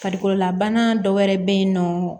Farikololabana dɔ wɛrɛ be yen nɔ